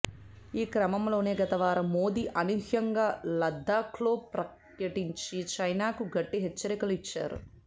ఈ క్రమంలోనే గతవారం మోదీ అనూహ్యంగా లద్దాఖ్లో పర్యటించి చైనాకు గట్టి హెచ్చరికలు ఇచ్చారు